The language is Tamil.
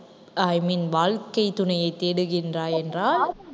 i mean வாழ்க்கைத் துணையைத் தேடுகின்றாய் என்றால்